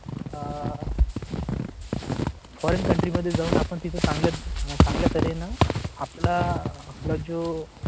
foregin country मध्ये जाऊन आपण तिथे चांगल्या चांगल्या तऱ्हेनं आपला आपला जो.